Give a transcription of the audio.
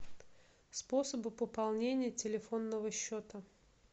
способы пополнения телефонного счета